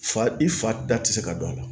Fa i fa da tɛ se ka don a la